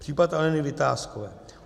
Případ Aleny Vitáskové.